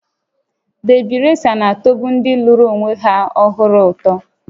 Debi resa na-atọbu ndị lụrụ onwe ha ọhụrụ ụtọ